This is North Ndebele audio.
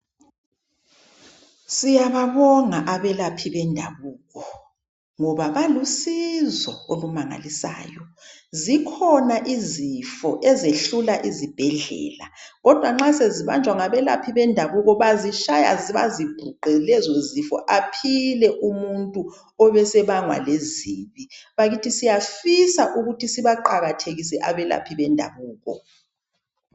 Siyababonga abelaphi bendabuko ngoba balusizo olumangalisayo. Zikhona izifo ezehlula izibhedlela kodwa nxa sezibanjwa ngabelaphi bendabuko bazitshaya bazibhuqe lezozifo aphile umuntu obesebangwa lezibi. Bakithi siyafisa ukuthi sibaqakathekise abelaphi bendabuko.